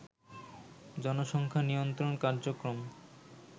জনসংখ্যা নিয়ন্ত্রণ কার্যক্রম